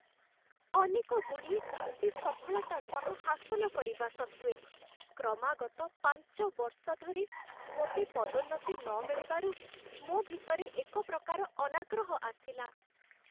ଅନେକ ଗୁଡ଼ିଏ ଚୁକ୍ତି ସଫଳତା ସହ ହାସଲ କରିବା ସତ୍ତ୍ୱେ, କ୍ରମାଗତ ପାଞ୍ଚ ବର୍ଷ ଧରି ମୋତେ ପଦୋନ୍ନତି ନମିଳିବାରୁ, ମୋ ଭିତରେ ଏକ ପ୍ରକାର ଅନାଗ୍ରହ ଆସିଲା।